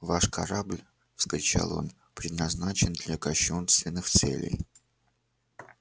ваш корабль вскричал он предназначен для кощунственных целей